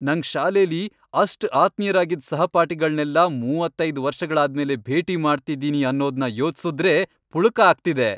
ನಂಗ್ ಶಾಲೆಲಿ ಅಷ್ಟ್ ಆತ್ಮೀಯ್ರಾಗಿದ್ ಸಹಪಾಠಿಗಳ್ನೆಲ್ಲ ಮೂವತ್ತೈದ್ ವರ್ಷಗಳಾದ್ಮೇಲೆ ಭೇಟಿ ಮಾಡ್ತಿದೀನಿ ಅನ್ನೋದ್ನ ಯೋಚ್ಸುದ್ರೇ ಪುಳಕ ಆಗ್ತಿದೆ.